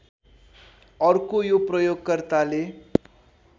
अर्को यो प्रयोगकर्ताले